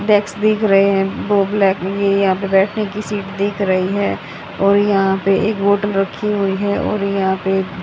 desk दिख रहे हैं वो ब्लैक ये यहां बैठने की सीट दिख रही है और यहां पे एक बॉटल रखी हुई है और यहां पे--